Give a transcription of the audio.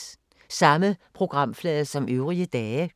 Samme programflade som øvrige dage